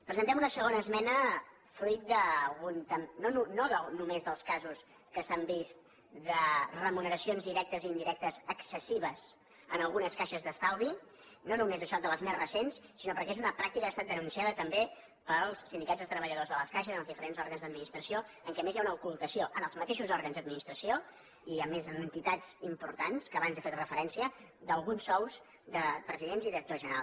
presentem una segona esmena fruit no només dels ca·sos que s’han vist de remuneracions directes i indirec·tes excessives en algunes caixes d’estalvi no només això de les més recents sinó perquè és una pràctica que ha estat denunciada també pels sindicats de treba·lladors de les caixes en els diferents òrgans d’adminis·tració en què a més hi ha una ocultació en els mateixos òrgans d’administració i a més en entitats importants a què abans he fet referència d’alguns sous de presi·dents i directors generals